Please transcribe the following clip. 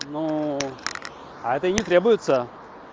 ну а это не требуется